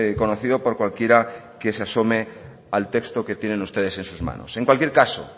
conocido por cualquiera que se asome al texto que tienen ustedes en sus manos en cualquier caso